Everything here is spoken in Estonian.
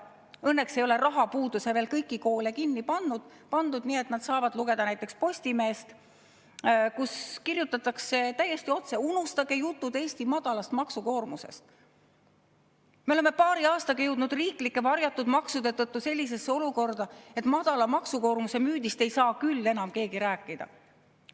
Õnneks ei ole rahapuuduses veel kõiki koole kinni pandud, nii et nad saavad lugeda näiteks Postimeest, kus kirjutatakse täiesti otse, et unustage jutud Eesti madalast maksukoormusest, me oleme paari aastaga jõudnud riiklike varjatud maksude tõttu sellisesse olukorda, et madala maksukoormuse müüdist ei saa küll enam keegi rääkida.